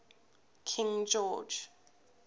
king george